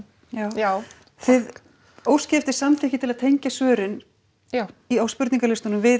já þið óskið eftir samþykki til að tengja svörin á spurningalistunum við